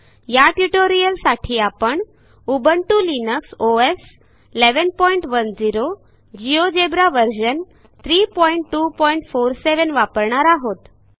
या ट्युटोरियलसाठी आपण Ubuntu Linux OS 1110 GeoGebra version 32470 वापरणार आहोत